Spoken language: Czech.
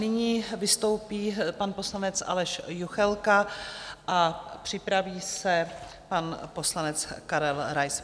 Nyní vystoupí pan poslanec Aleš Juchelka a připraví se pan poslanec Karel Rais.